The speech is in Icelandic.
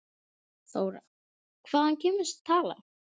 Þóra: Hvaðan kemur þessi tala?